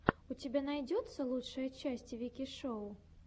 у тебя найдется лучшая часть вики шоу